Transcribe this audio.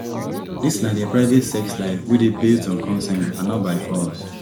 dis na dia private sex life wey dey based on consent and not by force